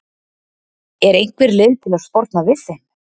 Er einhver leið til að sporna við þeim?